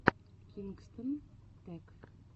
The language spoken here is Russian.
кингстон тэк